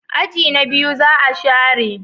aji na biyu za a share